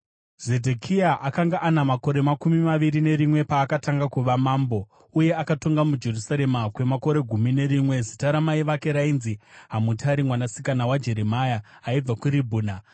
Zedhekia akanga ana makore makumi maviri nerimwe paakatanga kuva mambo, uye akatonga muJerusarema kwemakore gumi nerimwe. Zita ramai vake rainzi Hamutari mwanasikana waJeremia; aibva kuRibhina.